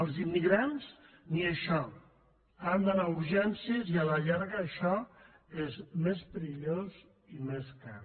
els immigrants ni això han d’anar a urgències i a la llarga això és més perillós i més car